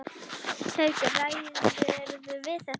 Haukur: Ræðirðu við þetta?